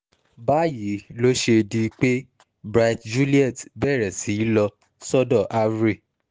báyìí ló ṣe di pé bright juliet bẹ̀rẹ̀ sí í lọ sọ́dọ̀ avery